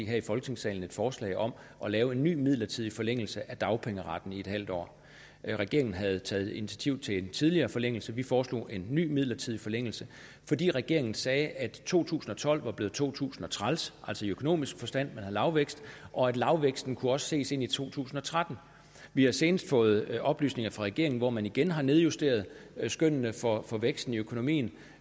her i folketingssalen et forslag om at lave en ny midlertidig forlængelse af dagpengeretten med en halv år regeringen havde taget initiativ til en tidligere forlængelse vi foreslog en ny midlertidig forlængelse fordi regeringen sagde at to tusind og tolv var blevet to tusind og træls altså i økonomisk forstand lavvækst og lavvæksten også kunne ses ind i to tusind og tretten vi har senest fået oplysninger af regeringen hvor man igen har nedjusteret skønnene for for væksten i økonomien